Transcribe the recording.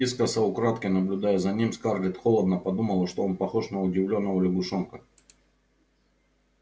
искоса украдкой наблюдая за ним скарлетт холодно подумала что он похож на удивлённого лягушонка